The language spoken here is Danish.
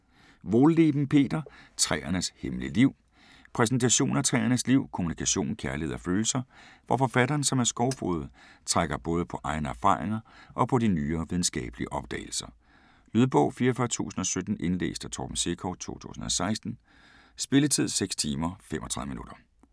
Wohlleben, Peter: Træernes hemmelige liv Præsentation af træernes liv, kommunikation, kærlighed og følelser, hvor forfatteren, som er skovfoged, trækker både på egne erfaringer og på de nyere videnskabelige opdagelser. Lydbog 44017 Indlæst af Torben Sekov, 2016. Spilletid: 6 timer, 35 minutter.